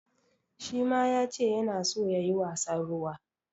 Shi ma ya ce yana so ya yi wasan ruwa.